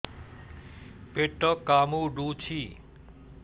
ପେଟ କାମୁଡୁଛି